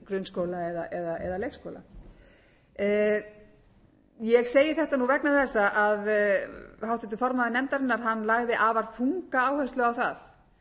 sem það er fyrir grunnskóla eða leikskóla ég segi þetta nú vegna þess að háttvirtur formaður nefndarinnar hann lagði afar þunga áherslu á það að